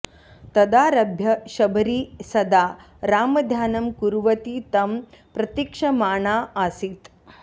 तदारभ्य शबरी सदा रामध्यानं कुर्वती तं प्रतीक्षमाणा आसीत्